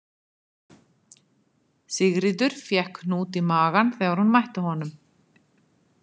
Sigríður fékk hnút í magann þegar hún mætti honum